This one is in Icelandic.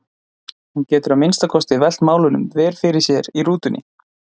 Hún getur að minnsta kosti velt málunum vel fyrir sér í rútunni.